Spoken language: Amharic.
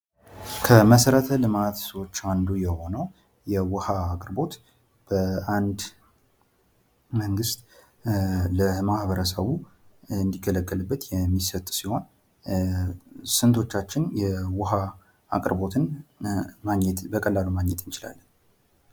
ከመሠረተ ልማት አንዱ የሆነው የውሃ አቅርቦት በአንድ መንግስት ለማህበረሰቡ እንድገለገለገልበት የሚሰጥ ሲሆን ስንቶቻችን የውሃ አቅርቦትን ማግኘት በቀላሉ ማግኘት እንችላለን?